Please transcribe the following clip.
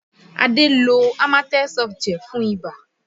Adé lo Amatem Softgel fún ibà